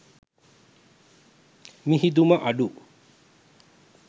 මිහිදුම අඩු